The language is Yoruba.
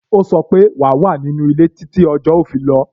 Ó sọ pé "wa wà ní inú ilé títí tí ọjọ́ ó fi rọ̀